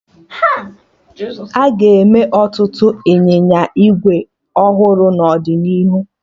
Aga eme ọtụtụ ịnyịnya ígwè ọhụrụ n'ọdịnihu